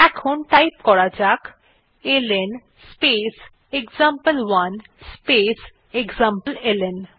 এখন টাইপ করা যাক এলএন স্পেস এক্সাম্পল1 স্পেস এক্সামপ্লেলন